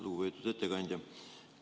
Lugupeetud ettekandja!